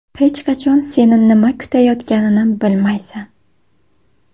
Hech qachon seni nima kutayotganini bilmaysan.